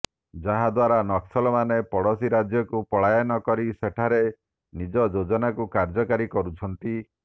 ଯାହାଦ୍ୱାରା ନକ୍ସଲ ମାନେ ପଡୋଶୀରାଜ୍ୟକୁ ପଳାୟନ କରି ସେଠାରେ ନିଜଯୋଜନାକୁ କାର୍ଯ୍ୟକାରୀ କରୁଛନ୍ତି